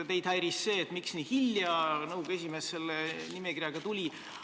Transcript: Teid häiris see, et nõukogu esimees selle nimekirjaga nii hilja välja tuli.